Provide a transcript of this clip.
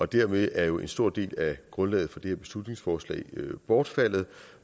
dermed er jo en stor del af grundlaget for det her beslutningsforslag bortfaldet